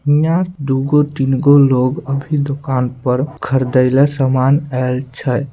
यहां दू गो तीन गो लोग अभी दुकान पर खरीदे ले सामान आल छै।